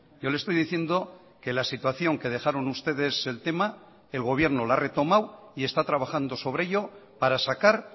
yo le estoy diciendo que la situación que dejaron ustedes el tema el gobierno la ha retomado y está trabajando sobre ello para sacar